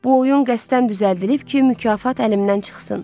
Bu oyun qəsdən düzəldilib ki, mükafat əlimdən çıxsın.